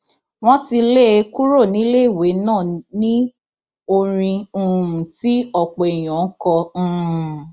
wọn ti lé e kúrò níléèwé ná ní orin um tí ọpọ èèyàn ń kọ um